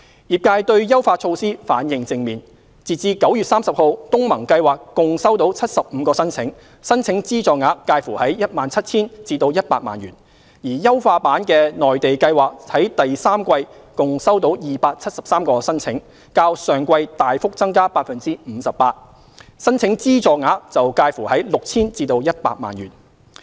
業界對優化措施反應正面，截至9月30日，東盟計劃共收到75個申請，申請資助額介乎約 17,000 元至100萬元，而優化版的內地計劃在第三季共收到273個申請，較上季大幅增加 58%， 申請資助額則介乎約 6,000 元至100萬元。